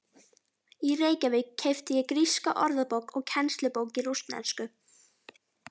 Í Reykjavík keypti ég gríska orðabók og kennslubók í rússnesku.